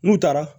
N'u taara